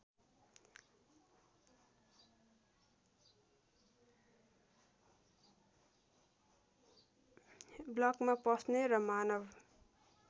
ब्लकमा पस्ने र मानव